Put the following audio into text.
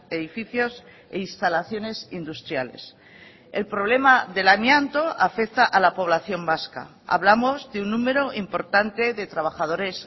edificios e instalaciones industriales el problema del amianto afecta a la población vasca hablamos de un número importante de trabajadores